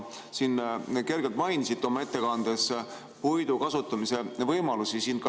Te mainisite oma ettekandes ka puidu kasutamise võimalusi.